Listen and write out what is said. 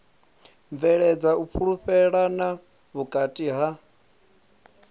bveledza u fhulufhelana vhukati ha